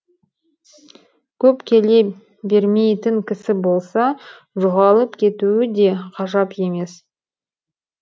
көп келе бермейтін кісі болса жоғалып кетуі де ғажап емес